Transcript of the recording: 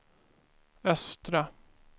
östra